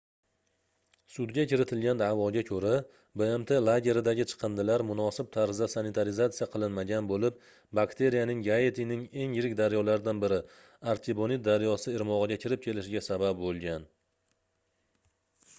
sudga kiritilgan daʼvoga koʻra bmt lageridagi chiqindilar munosib tarzda sanitarizatsiya qilinmagan boʻlib bakteriyaning gaitining eng yirik daryolaridan biri artibonit daryosi irmogʻiga kirib kelishiga sabab boʻlgan